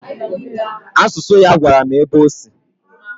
Asụsụ ya gwara m ebe ọ sị